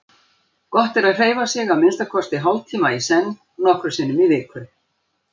Gott er að hreyfa sig að minnsta kosti hálftíma í senn nokkrum sinnum í viku.